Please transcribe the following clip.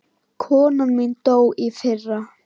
Konan mín dó í fyrra.